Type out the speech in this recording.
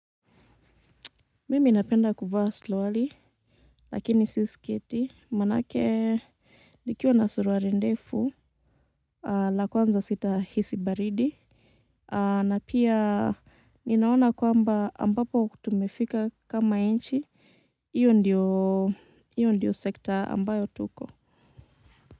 Mimi napenda kuva suruali lakini si sketi manake nikiwa na suruali ndefu la kwanza sitahisi baridi na pia ninaona kwamba ambapo tumefika kama nchi iyo ndiyo iyo ndiyo sekta ambayo tuko.